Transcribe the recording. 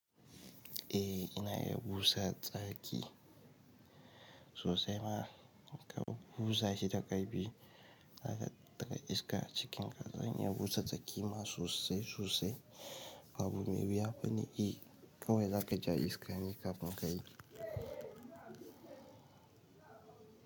Eh ina iya busa tsaki sosai ma ka busa shi da ƙarfi, za ka ɗaga iska cikin ƙaz, zan iya busa tsaki ma sosai sosai. Haba, me ya fi ni? I kawai za ka ja iska ne kafin ka yi.